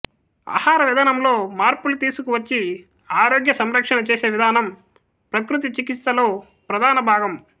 ఆహారవిధానంలో మార్పులు తీసుకు వచ్చి ఆరోగ్య సంరక్షణ చేసేవిధానం ప్రకృతి చికిత్సలో ప్రధాన భాగం